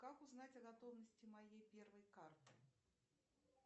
как узнать о готовности моей первой карты